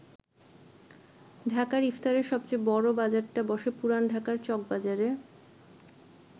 ঢাকার ইফতারের সবচেয়ে বড় বাজারটা বসে পুরান ঢাকার চকবাজারে।